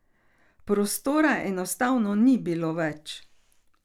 Prostora enostavno ni bilo več.